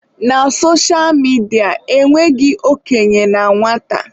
Na socha midia, enweghị okenye na nwata.